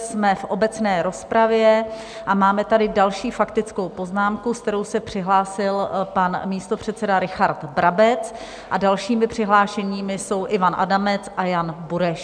Jsme v obecné rozpravě a máme tady další faktickou poznámku, se kterou se přihlásil pan místopředseda Richard Brabec, a dalšími přihlášenými jsou Ivan Adamec a Jan Bureš.